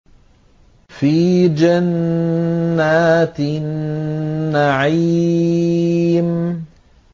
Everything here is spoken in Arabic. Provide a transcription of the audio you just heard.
فِي جَنَّاتِ النَّعِيمِ